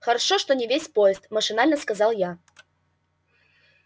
хорошо что не весь поезд машинально сказал я